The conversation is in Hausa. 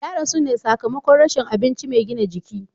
Ya rasu ne sakamakon rashin abinci mai gina jiki.